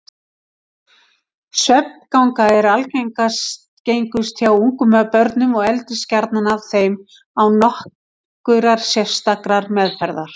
Svefnganga er algengust hjá ungum börnum og eldist gjarnan af þeim án nokkurrar sérstakrar meðferðar.